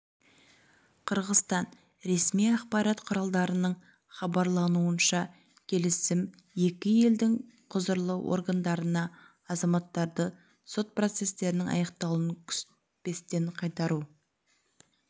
қырғызстан ресми ақпарат құралдарының хабарлауынша келісім екі елдің құзырлы органдарына азаматтарды сот процестерінің аяқталуын күтпестен қайтару